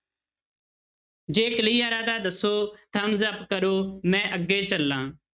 ਜੇ clear ਹੈ ਤਾਂ ਦੱਸੋ thumbs up ਕਰੋ ਮੈਂ ਅੱਗੇ ਚੱਲਾਂ।